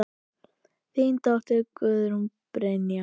Þín dóttir, Guðrún Brynja.